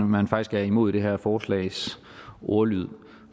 man faktisk er imod det her forslags ordlyd